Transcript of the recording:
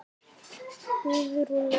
Guðrún okkar!